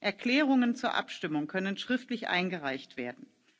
Erklärungen zur Abstimmung können schriftlich eingereicht werden.